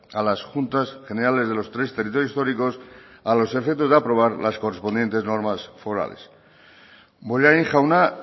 a las juntas generales de los tres territorios históricos a los efectos de aprobar las correspondientes normas forales bollain jauna